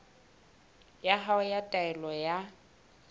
ya hao ya taelo ya